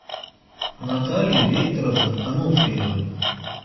натальи викторовны ануфриевой